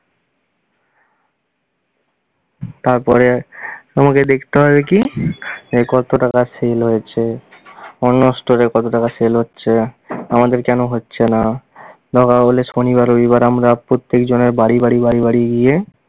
তারপরে তোমাকে দেখতে হবে কী, যে কত টাকা sell হয়েছে অন্য store এ কত টাকা sell হচ্ছে? আমাদেরকে কেন হচ্ছে না? দরকার হলে শনিবার রবিবার আমরা প্রত্যেক জনের বাড়ি বাড়ি বাড়ি বাড়ি গিয়ে